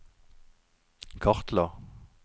kartla